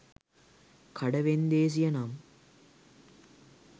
කඩ වෙන්දේසිය නම්